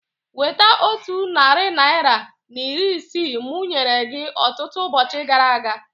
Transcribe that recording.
Weta otu narị naira na iri ise mụ nyere gị ọtụtụ ụbọchị gara aga